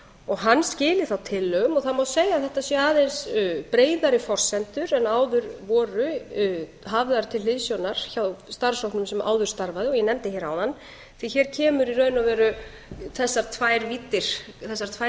og hann skili þá tillögum og það má segja að þetta séu aðeins breiðari forsendur en áður voru hafðar til hliðsjónar hjá starfshópnum sem áður starfaði og ég nefndi hér áðan því að hér kemur í raun og veru þessar tvær víddir koma inn það er